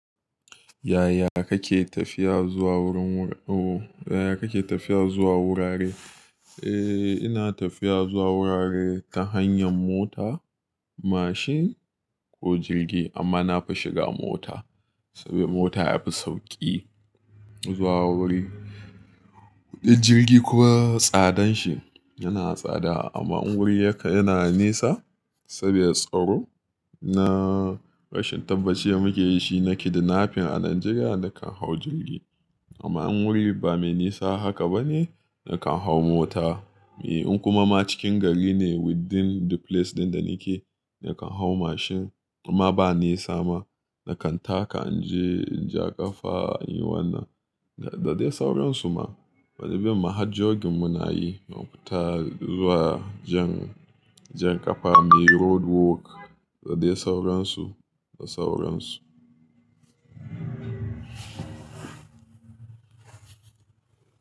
Yaya kake tafiya zuwa wurin wur-- oh, yaya kake tafiya zuwa wurare? Eh, ina tafiya zuwa wurare ta hanyar mota, mashin ko jirgi amma nafi shiga mota sabida mota yafi sauƙi zuwa wuri. Kuɗin jirgi kuwa tsadan shi yana tsada amma in wuri yaka yana nesa sabida tsaro na rashin tabbacin da muke da dashi na kidnapping a Najeriya nakan hau jirgi. Amma in wuri ba mai nisa haka bane nakan hau mota. Eh, in kuma ma cikin gari ne within the place ɗin da nake nakan hau mashin imma ba nisa ma nakan taka in je, in ja ƙafa in yi wannan. Ga, da dai sauransu ma. Wani bin ma har jogging muna yi ma mu fita zuwa jan, jan ƙafa muyi road walk da dai sauransu da sauransu.